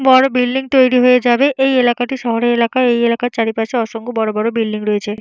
বড় বিল্ডিং তৈরি হয়ে যাবে। এই এলাকাটি শহরের এলাকায়। এই এলাকার চারিপাশে অসংখ্য বড় বড় বিল্ডিং রয়েছে।